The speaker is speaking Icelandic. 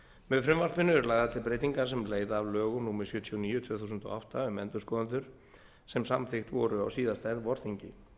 með frumvarpinu eru lagðar til breytingar sem leiða af lögum númer sjötíu og níu tvö þúsund og átta um endurskoðendur sem samþykkt voru á síðasta vorþingi